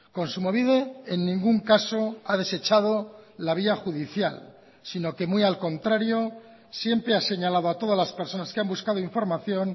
kontsumobide en ningún caso ha desechado la vía judicial sino que muy al contrario siempre ha señalado a todas las personas que han buscado información